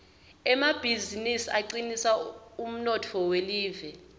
emabizinisi acinisa umnotfo welive